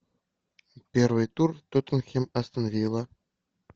первый тур тоттенхэм астон вилла